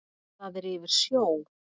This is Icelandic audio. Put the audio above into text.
Það er yfir sjó.